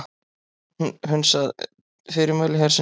Hunsa fyrirmæli hersins